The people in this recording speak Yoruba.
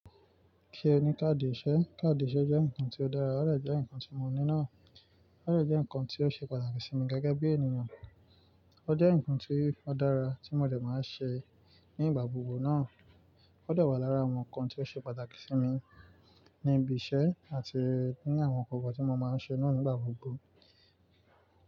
Kí ẹ ní káàdì ìṣe, káàdì ìṣe jẹ́ nǹkan tí ó dára, ó dẹ̀ jẹ́ nǹkan tí mo ní náà, ó dẹ̀ jẹ́ nǹkan tí ó ṣe pàtàkì sí mi gẹ́gẹ́ bí ènìyàn, ó jẹ́ nǹkan tí ó dára tí mo dẹ̀ máa ń ṣe ní ìgbà gbogbo náà, ó dà wà lára àwọn nǹkan tí ó ṣe pàtàkì sí mi ní ibi iṣẹ́ àti ní àwọn gbogbo tí mo máa ń ṣe náà nígbà gbogbo.